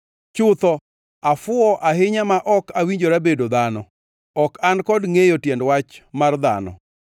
Chutho afuwo ahinya ma ok awinjora bedo dhano; ok an kod ngʼeyo tiend wach mar dhano.